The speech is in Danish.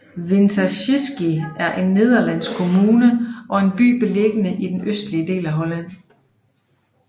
Winterswijk er en nederlandsk kommune og en by beliggende i den østlige del af Holland